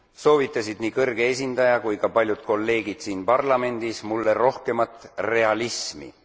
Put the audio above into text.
soovitasid nii kõrge esindaja kui ka paljud kolleegid siin parlamendis mulle rohkemat realismi.